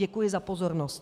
Děkuji za pozornost.